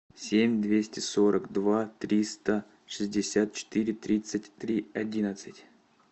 семь двести сорок два триста шестьдесят четыре тридцать три одиннадцать